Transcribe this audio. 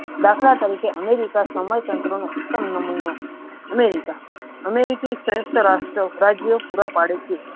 દાખલ તરીકે અમેરિકા સમય તંત્રનો ઉત્તમ નમૂનો અમેરિકા અમેરિકી રાજ્ય પુરા પડશે.